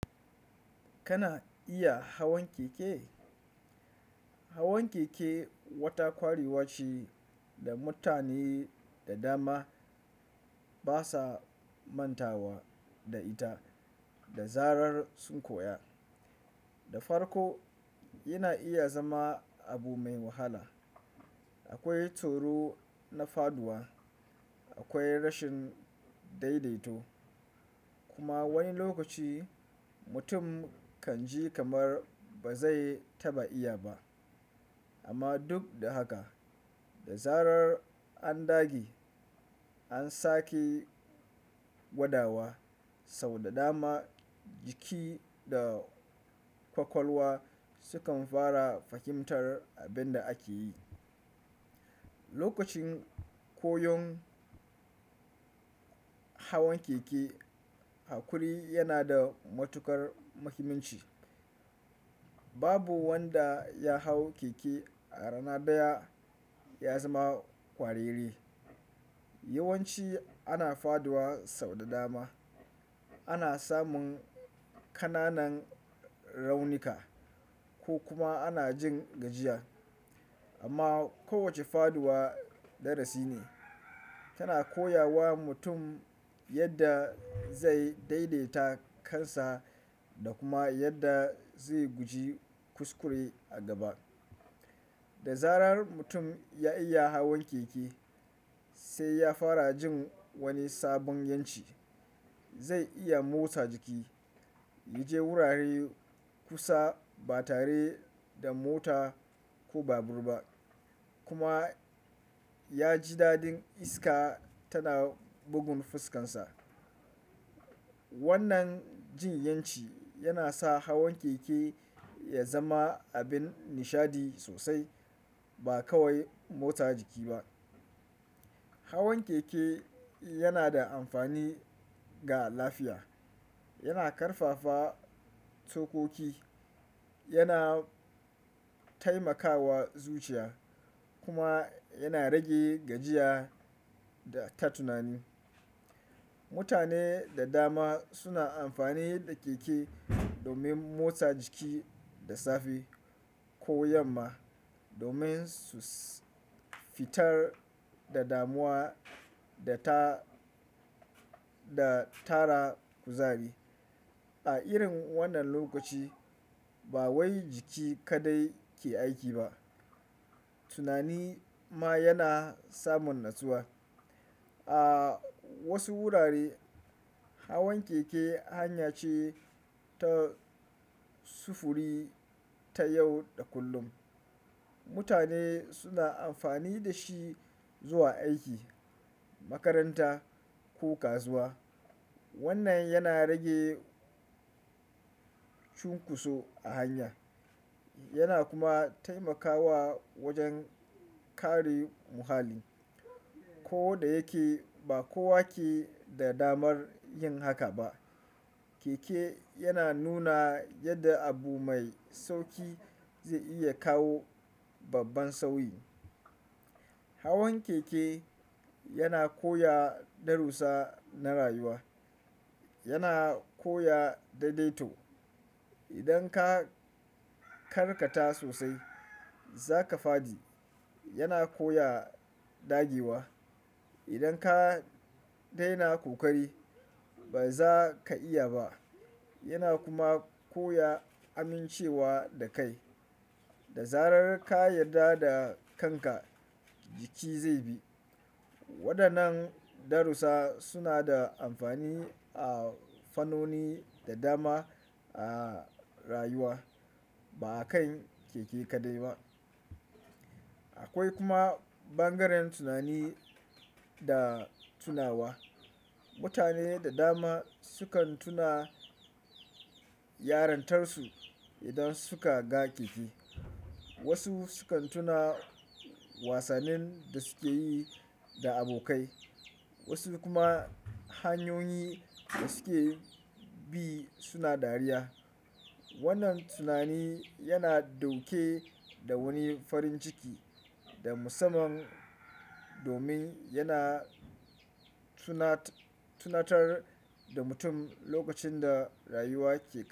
Kana iya hawan keke? Hawan keke wata kwarewa ce da mutane da dama basa mantawa da ita. Da zarar sun koya, da farko yana iya zama abu mai wahala. Akwai tsoro na faɗuwa, akwai rashin daidaito kuma wani lokaci mutum kan ji kamar ba zai taɓa iya ba. Amma duk da haka, da zarar an dage, an sake gwadawa sau da dama jiki da kwakwalwa sukan fara fahimtar abin da ake yi. Lokacin koyon hawan keke, hakuri yana da matuƙar muhimmanci. Babu wanda ya hau keke a rana ɗaya ya zama kwararre. Yawanci ana faduwa sau da dama. Ana samun ƙananan raunuka ko kuma ana jin gajiya. Amma kowacce faɗuwa darasi ne, tana koya wa mutum yadda zai daidaita kansa da kuma yadda zai guji kuskure a gaba. Da zarar mutum ya iya hawan keke, sai ya fara jin wani sabon yanci. Zai iya motsa jiki, ya je wurare kusa ba tare da mota ko babur ba kuma ya ji daɗin iska tana bugun fuskarsa. Wannan jin ƴanci yana sa hawan keke ya zama abin nishaɗi sosai ba kawai motsa jiki ba. Hawan keke yana da amfani ga lafiya. Yana ƙarfafa tsokoki, yana taimakawa zuciya kuma yana rage gajiya ta tunani. Mutane da dama suna amfani da keke domin motsa jiki da safe ko yamma domin su fitar da damuwa da ta. Da tara kuzari. A irin wannan lokaci ba wai jiki kaɗai ke aiki ba, tunani ma yana samun natsuwa. A wasu wurare hawan keke hanya ce ta sufuri ta yau da kullum. Mutane suna amfani da shi zuwa aiki, makaranta ko kasuwa. Wannan yana rage cunkoso a hanya yana kuma taimakawa wajen kare muhalli. Ko da yake ba kowa ke da damar yin haka ba, keke yana nuna yadda abu mai sauki zai iya kawo babban sauyi. Hawan keke yana koya darusa na rayuwa. Yana koya daidaito. Idan ka karkata sosai za ka fadi. Yana koya dagewa. Idan ka daina kokari ba za ka iya ba. Yana kuma koya amincewa da kai. Da zarar ka yarda da kanka jiki zai bi. Waɗannan darusa suna da amfani a fannoni da dama a rayuwa, ba a kan keke kadai ba. Akwai kuma ɓangaren tunani da tunawa. Mutane da dama sukan tuna yarintarsu idan suka ga keke. Wasu sukan tuna wasannin da suke yi da abokai, wasu kuma hanyoyin da suke bi suna dariya. Wannan tunani yana dauke da wani farin ciki da musamman domin yana tunatar da mutum lokacin da rayuwa ke.